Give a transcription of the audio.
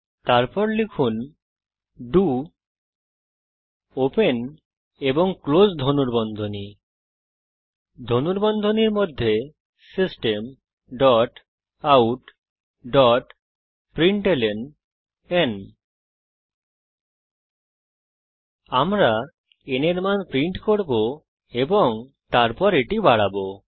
তারপর লিখুন do open এবং ক্লোস ধনুর্বন্ধনী ধনুর্বন্ধনীর মধ্যে systemoutপ্রিন্টলন আমরা n এর মান প্রিন্ট করব এবং তারপর এটি বাড়াবো